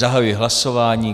Zahajuji hlasování.